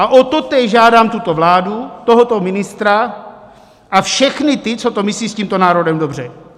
A o totéž žádám tuto vládu, tohoto ministra a všechny ty, co to myslí s tímto národem dobře.